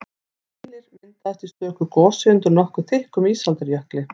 Keilir myndaðist í stöku gosi undir nokkuð þykkum ísaldarjökli.